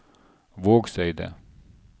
Vågseidet